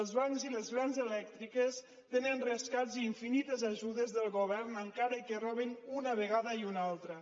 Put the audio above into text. els bancs i les grans elèctriques tenen rescats i infinites ajudes del govern encara que robin una vegada i una altra